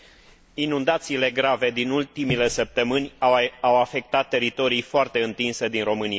Inundațiile grave din ultimele săptămâni au afectat teritorii foarte întinse din România.